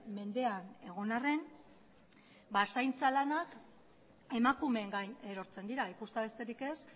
mendean egon arren zaintza lanak emakumeen gain erortzen dira ikustea besterik ez